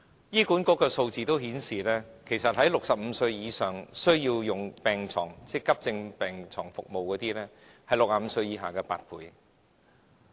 醫管局的數字顯示 ，65 歲以上需要用急症病床服務的人士，是65歲以下人士的8倍。